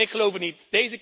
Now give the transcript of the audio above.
Ik geloof het niet.